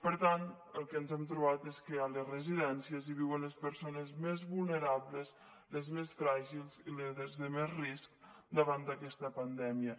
per tant el que ens hem trobat és que a les residències viuen les persones més vulnerables les més fràgils i les de més risc davant d’aquesta pandèmia